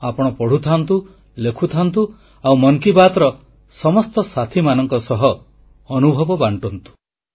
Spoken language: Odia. ଆପଣ ପଢ଼ୁଥାନ୍ତୁ ଲେଖୁଥାନ୍ତୁ ଆଉ ମନ୍ କି ବାତ୍ର ସମସ୍ତ ସାଥୀମାନଙ୍କ ସହ ଅନୁଭବ ବାଣ୍ଟୁଥାନ୍ତୁ